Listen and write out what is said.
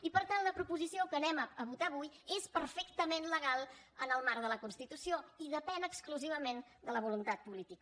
i per tant la proposició que anem a votar avui és perfectament legal en el marc de la constitució i depèn exclusivament de la voluntat polí tica